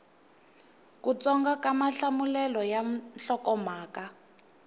kutsongo ka mahlamulelo ya nhlokomhaka